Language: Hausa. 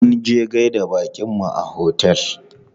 Munje gaida baƙinmu a otel.